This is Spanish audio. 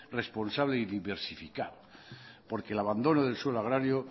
responsable y diversificado porque el abandono del suelo agrario